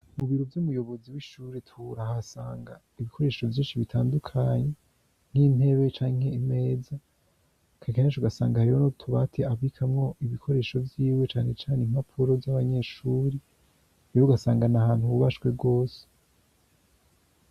Mu biro vy'umuyobozi w'ishuri, turahasanga ibikoresho vyinshi bitandukanye nk'intebe canke imeza, kenshi na kenshi ugasanga hariyo n'utubati abikanwo ibikoresho vyiwe, cane cane impapuro vy'abanyeshuri, mbere ugasanga n'ahantu hubashwe rwose.